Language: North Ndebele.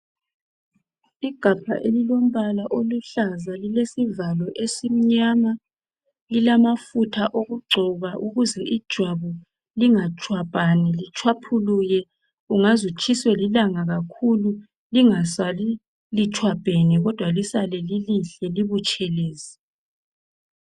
Igabha elilombala oluhlaza lilesivalo esimnyama, lilamafutha okugcoba ukuze ijwabu lingatshwabhani litshwaphuluke, ungaze utshiswe lilanga kakhulu lingasali litshwabhene kodwa lisale lilihle libutshelezi.